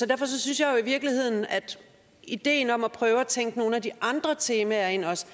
derfor synes jeg i virkeligheden at ideen om at prøve at tænke nogle af de andre temaer ind også